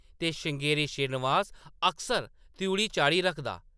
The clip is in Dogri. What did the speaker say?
ते श्रृंगेरी श्रीनिवास अकसर त्रिउढ़ी चाढ़ी रखदा ।